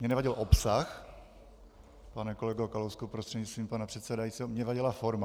Mně nevadil obsah, pane kolego Kalousku prostřednictvím pana předsedajícího, mně vadila forma.